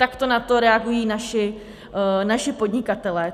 Takto na to reagují naši podnikatelé.